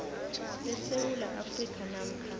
besewula afrika namkha